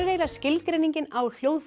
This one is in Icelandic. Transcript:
eiginlega skilgreiningin á hljóðfæri